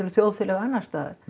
þjóðfélög annars staðar